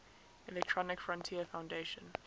electronic frontier foundation